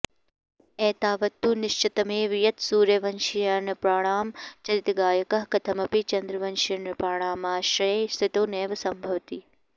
एतावत्तु निश्चितमेव यत्सूर्यवंश्यनृपाणां चरितगायकः कथमपि चन्द्रवंश्यनृपाणामाश्रये स्थितो नैव सम्भवति